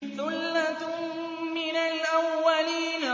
ثُلَّةٌ مِّنَ الْأَوَّلِينَ